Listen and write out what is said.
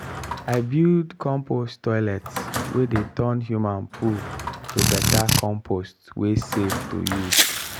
i build compost toilet wey dey turn human poo to better compost wey safe to use.